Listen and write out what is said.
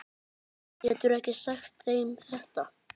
Geturðu ekki sagt þeim þetta.